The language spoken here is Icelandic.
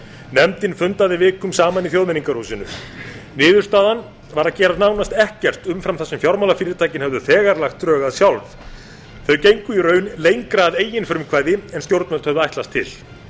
nefndin fundaði vikum saman í þjóðmenningarhúsinu niðurstaðan var að gera nánast ekkert umfram það sem fjármálafyrirtækin hefðu þegar lagt drög að sjálf þau gengu í raun lengra að eigin frumkvæði en stjórnvöld höfðu ætlast til